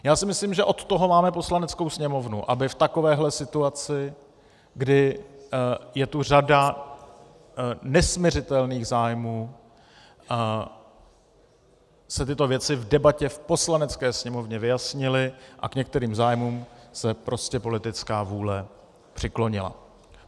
Já si myslím, že od toho máme Poslaneckou sněmovnu, aby v takovéhle situaci, kdy je tu řada nesmiřitelných zájmů, se tyto věci v debatě v Poslanecké sněmovně vyjasnily a k některým zájmům se prostě politická vůle přiklonila.